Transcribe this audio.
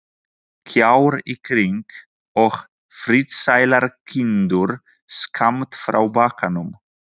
Kjarr í kring, og friðsælar kindur skammt frá bakkanum.